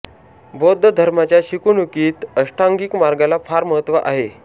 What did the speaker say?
बौद्ध धर्माच्या शिकवणुकीत अष्टांगिक मार्गाला फार महत्त्व आहे